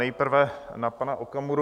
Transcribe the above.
Nejprve na pana Okamuru.